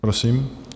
Prosím.